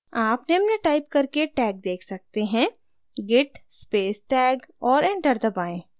आप निम्न टाइप करके tag tag सकते हैं git space tag और enter दबाएँ